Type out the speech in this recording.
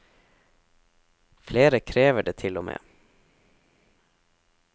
Flere krever det til og med.